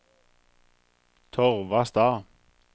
Torvastad